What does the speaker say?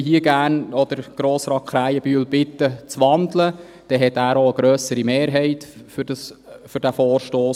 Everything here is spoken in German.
Deshalb möchte ich Grossrat Krähenbühl bitten, zu wandeln, denn dann hat er eine grössere Mehrheit für diesen Vorstoss.